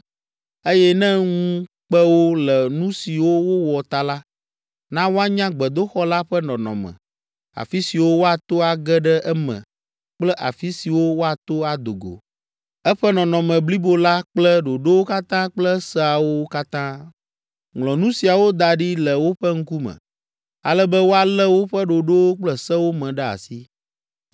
eye ne ŋu kpe wo le nu siwo wowɔ ta la, na woanya gbedoxɔ la ƒe nɔnɔme, afi siwo woato age ɖe eme kple afi siwo woato ado go, eƒe nɔnɔme blibo la kple ɖoɖowo katã kple seawo katã. Ŋlɔ nu siawo da ɖi le woƒe ŋkume, ale be woalé woƒe ɖoɖowo kple sewo me ɖe asi.